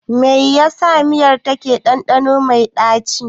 Me yasa miyar take da ɗanɗano mai ɗaci.